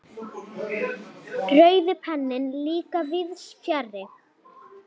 Rauði penninn líka víðs fjarri.